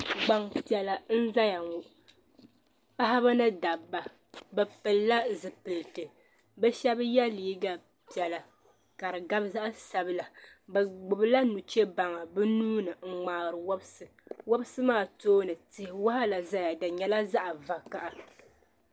Gbanpiɛla n zaya ŋɔ paɣaba ni dabba bi pili la zipiliti bi shaba yɛ liiga piɛlla ka di gabi zaya sabila bi gbubi la nuchebaŋa bi nuuni n ŋmaari wɔbisi wɔbisi maa tooni tia waɣala zaya di nyɛla zaɣa vakaha.